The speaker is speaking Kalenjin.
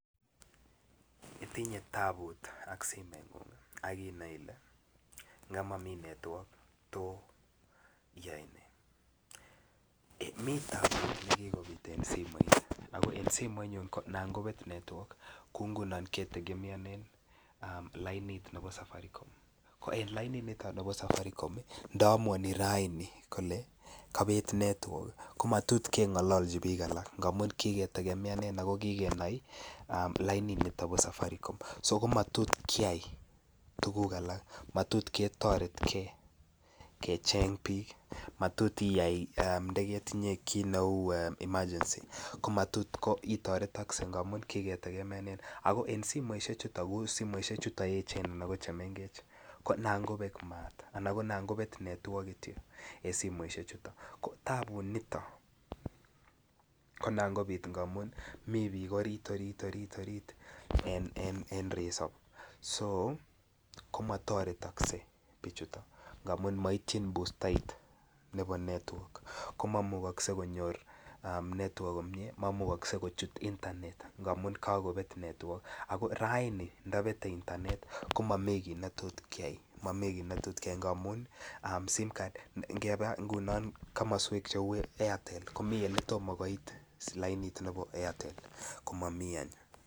Itinye taput ak simengung akinai ile nga Mami network tos iyai ne yon mi taput ne kikobit en simoisiek en simoinyun ko Nan kobet network kou ngunon ketegemeonen lainit nebo safaricom ko en lainit niton bo safaricom ko nda amuani raini kole kobet network ko matot kengololchi bik alak ko kiketegemeanen ako ki kenai lainit niton bo safaricom so komatot keyai tuguk alak matot ketoret ge kecheng bik matot iya ki yon ketinye kit neu emergency ko matot itoretogse ako en simoisiechuton Che echen anan ko chemengech ko anan kobek maat anan kobet network Kityo en simoisiechuton ko Tapunito ko Nan kobit amun mi bik orit en resop so komatoretokse bichuto ngamun moityin bustait nebo network ko maimugoksei konyor network komie ak maimuche kochut internet amun kakobet network ago raini ndabete internet ko Mami kit ne tot keyai ngamun simcard ngebe ngunon komoswek cheu airtel komiten Ole tomo koit lainit ko Mami network